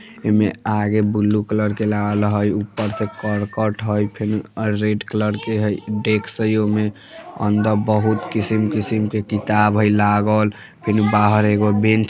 इ में आगे बुलु कलर के लागल हई ऊपर से करकट हई फ़ेन आर रेड कलर के हई डेस्क हई ओय में अंदर बहुत किसिम-किसिम के किताब हई लागल फिर बाहर एगो बेन --